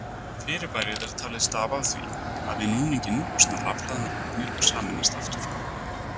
Fyrirbærið er talið stafa af því að við núninginn losna rafhlaðnar agnir og sameinast aftur.